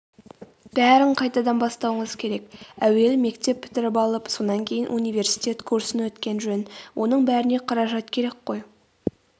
бәрін қайтадан бастауыңыз керек әуелі мектеп бітіріп алып сонан кейін университет курсын өткен жөн.оның бәріне қаражат керек қой.о